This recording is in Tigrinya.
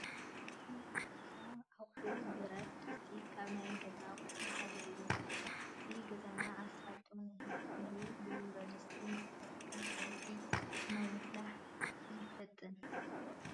ናይ ገዛ ኣቑሑት፡- ብረት ድስቲ ካብ ናይ ገዛ ኣቑሑት ሓደ እዩ፡፡ ስራሕቲ ገዛና ኣሳልጦ ንኽህልዎ ብብረት ድስቲ ንሰርሕ፡፡ ከም ፀብሒን ማይ ምፍላሕ የፋጥን፡፡